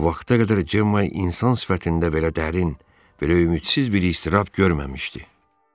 Bu vaxta qədər Cemma insan sifətində belə dərin, belə ümidsiz bir istirab görməmişdi.